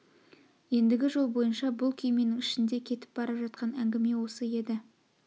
ендгі жол бойынша бұл күйменің ішінде кетіп бара жатқан әңгіме осы еді